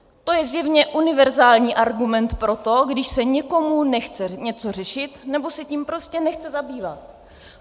To je zjevně univerzální argument pro to, když se někomu nechce něco řešit nebo se tím prostě nechce zabývat.